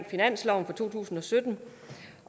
af finansloven for to tusind og sytten